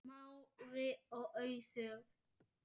Smári og Auður.